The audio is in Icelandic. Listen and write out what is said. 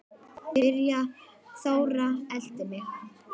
Þóra elti mig.